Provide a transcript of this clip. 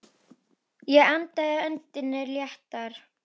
Ég varpaði öndinni léttar.